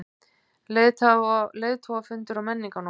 Leiðtogafundur á Menningarnótt